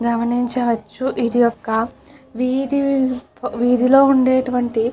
గమనించవచ్చు ఇది ఒక్క వీధి వీధిలో ఉండేటువంటి --